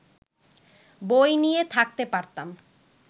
বই নিয়ে থাকতে পারতাম